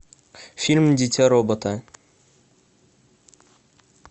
фильм дитя робота